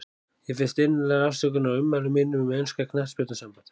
Ég biðst innilegrar afsökunar á ummælum mínum um enska knattspyrnusambandið.